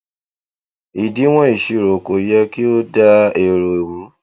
ìdíwọn ìṣirò kò yẹ kí ó dá èrò ru